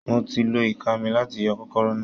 Mo ti lo ìka mi láti yọ kọ́kọ́rọ́ náà